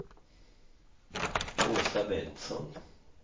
Åsa Bengtsson